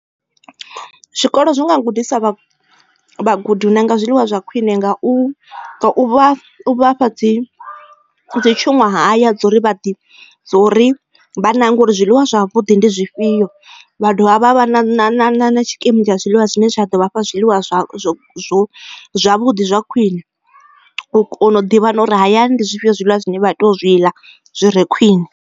zwikolo zwi nga gudisa vhagudi u nanga zwiḽiwa zwa khwiṋe nga u vha fha dzi tshunwahaya dza uri dzo ri vha nange ngauri zwiḽiwa ndi zwifhio vha dovha vha vha na tshikimu tsha zwiḽiwa zwine zwa ḓo vhafha zwiḽiwa zwa zwavhuḓi zwa khwiṋe u kona u ḓivha uri hayani ndi zwifhio zwiḽiwa zwine vha tea zwi ḽa zwire khwine.